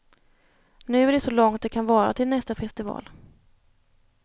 Nu är det så långt det kan vara till nästa festival.